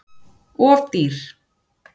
Of dýr